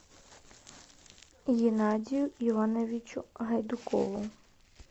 геннадию ивановичу гайдукову